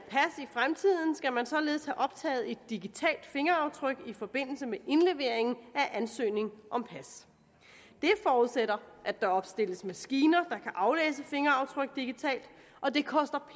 fremtiden skal man således have optaget et digitalt fingeraftryk i forbindelse med indlevering af ansøgning om pas det forudsætter at der opstilles maskiner der aflæse fingeraftryk digitalt og det koster